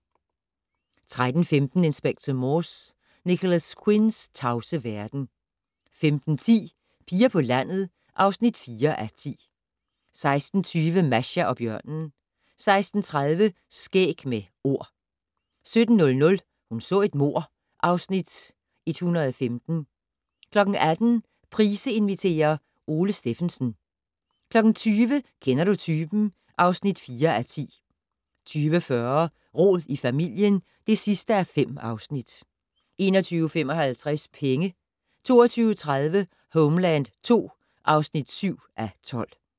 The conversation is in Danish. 13:15: Inspector Morse: Nicholas Quinns tavse verden 15:10: Piger på landet (4:10) 16:20: Masha og bjørnen 16:30: Skæg med Ord 17:00: Hun så et mord (Afs. 115) 18:00: Price inviterer - Ole Stephensen 20:00: Kender du typen? (4:10) 20:40: Rod i familien (5:5) 21:55: Penge 22:30: Homeland II (7:12)